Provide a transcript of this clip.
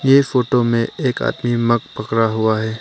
ये फोटो में एक आदमी मग पकड़ा हुआ है।